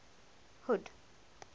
hood